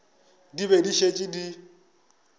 di be di šetše di